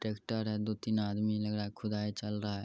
Tractor है। दो तीन आदमी लग रहा है खुदाई चल रहा है।